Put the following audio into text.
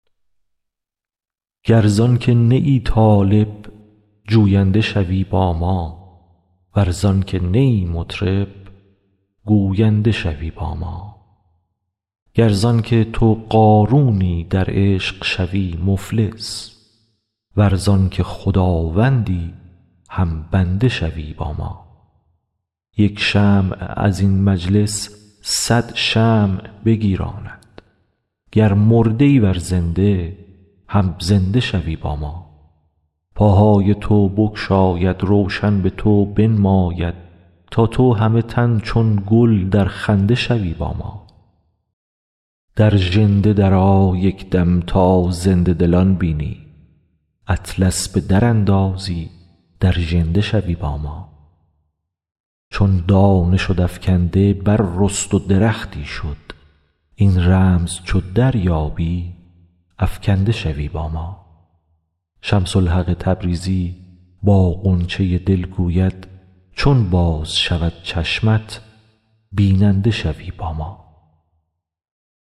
گر زان که نه ای طالب جوینده شوی با ما ور زان که نه ای مطرب گوینده شوی با ما گر زان که تو قارونی در عشق شوی مفلس ور زان که خداوندی هم بنده شوی با ما یک شمع از این مجلس صد شمع بگیراند گر مرده ای ور زنده هم زنده شوی با ما پاهای تو بگشاید روشن به تو بنماید تا تو همه تن چون گل در خنده شوی با ما در ژنده درآ یک دم تا زنده دلان بینی اطلس به دراندازی در ژنده شوی با ما چون دانه شد افکنده بررست و درختی شد این رمز چو دریابی افکنده شوی با ما شمس الحق تبریزی با غنچه دل گوید چون باز شود چشمت بیننده شوی با ما